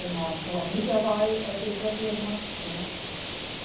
A irmã Joanita vai, é dessa turma, né. É